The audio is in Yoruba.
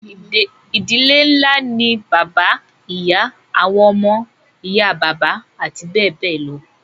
ìdílé ńlá ni bàbá, ìyá, àwọn ọmọ, ìyá bàbá àti bẹ́ẹ̀ bẹ́ẹ̀ lọ